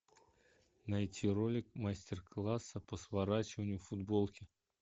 найти ролик мастер класса по сворачиванию футболки